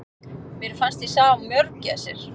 Mér fannst ég sjá mörgæsir!